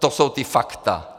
To jsou ta fakta.